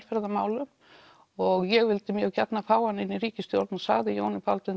baráttumálum og ég vildi mjög gjarnan fá hana inn í ríkisstjórn og sagði Jóni Baldvin